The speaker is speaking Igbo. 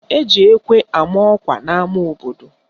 Eji ekwe ama ọkwa n'ama obodo